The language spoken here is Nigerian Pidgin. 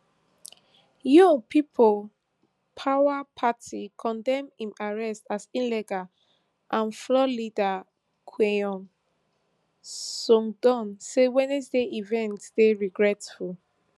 yoon people power party condemn im arrest as illegal and floor leader kweon seongdong say wednesday event dey regretful